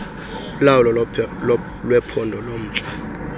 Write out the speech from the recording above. kulawulo lwephondo lomntla